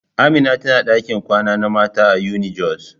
Amina tana dakin kwana na mata a unijos.